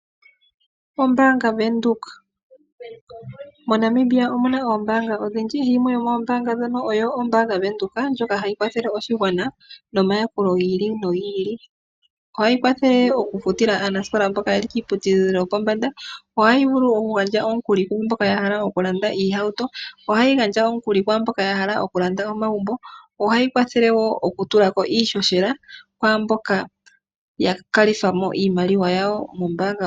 MoNamibia omuna ombaanga odhindji yimwe yomudho ombaanga yaVenduka, ndjoka hayi kwathele oshigwana nomayakulo ga yoolokathana. Ohayi futile aanasikola mboka yeli kiiputudhilo yopombanda nohayi gandja omukuli kwamboka ya hala okulanda oohauto nomagumbo. Ohayi kwathele oku tula ko iishoshela kwaamboka yena iimaliwa ya kalitha mo iimaliwa yawo mombaanga.